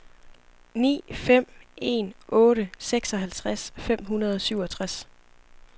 ni fem en otte seksoghalvtreds fem hundrede og syvogtres